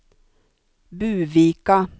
Buvika